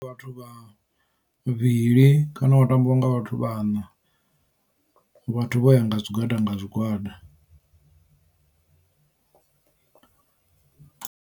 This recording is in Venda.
Vhathu vha vhavhili kana wa tambiwa nga vhathu vhaṋa vhathu vho ya nga zwigwada nga zwigwada.